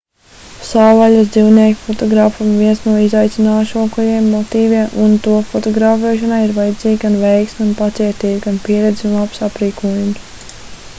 savvaļas dzīvnieki fotogrāfam ir viens no izaicinošākajiem motīviem un to fotografēšanai ir vajadzīga gan veiksme un pacietība gan pieredze un labs aprīkojums